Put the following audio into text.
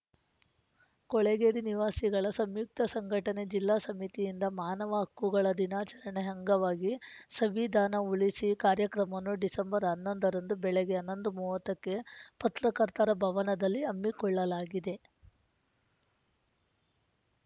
ಕೊಳೆಗೇರಿ ನಿವಾಸಿಗಳ ಸಂಯುಕ್ತ ಸಂಘಟನೆ ಜಿಲ್ಲಾ ಸಮಿತಿಯಿಂದ ಮಾನವ ಹಕ್ಕುಗಳ ದಿನಾಚರಣೆ ಅಂಗವಾಗಿ ಸಂವಿಧಾನ ಉಳಿಸಿ ಕಾರ್ಯಕ್ರಮವನ್ನು ಡಿಸೆಂಬರ್ ಹನ್ನೊಂದರಂದು ಬೆಳಗ್ಗೆ ಹನ್ನೊಂದು ಮೂವತ್ತುಕ್ಕೆ ಪತ್ರಕರ್ತರ ಭವನದಲ್ಲಿ ಹಮ್ಮಿಕೊಳ್ಳಲಾಗಿದೆ